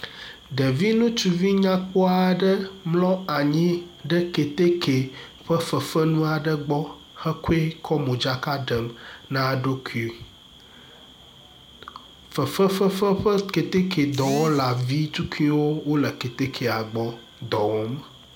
Ɖevi ŋutsuvi nyakpɔa aɖe mlɔ anyi ɖe keteke ƒe fefenu aɖe gbɔ hekɔe kɔ modzaka ɖem na eɖokui. Fefe fefe ƒe keteke dɔwɔla vi tukuiwo wole keteke gbɔ, dɔ wɔm.